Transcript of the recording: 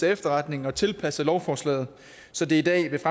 efterretning og tilpasset lovforslaget så det i dag ved